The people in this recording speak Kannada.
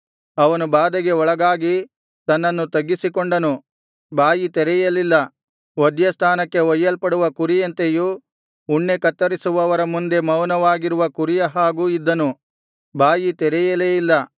ಅವನು ಬಾಧೆಗೆ ಒಳಗಾಗಿ ತನ್ನನ್ನು ತಗ್ಗಿಸಿಕೊಂಡನು ಬಾಯಿ ತೆರೆಯಲಿಲ್ಲ ವಧ್ಯಸ್ಥಾನಕ್ಕೆ ಒಯ್ಯಲ್ಪಡುವ ಕುರಿಯಂತೆಯೂ ಉಣ್ಣೆ ಕತ್ತರಿಸುವವರ ಮುಂದೆ ಮೌನವಾಗಿರುವ ಕುರಿಯ ಹಾಗೂ ಇದ್ದನು ಬಾಯಿ ತೆರೆಯಲೇ ಇಲ್ಲ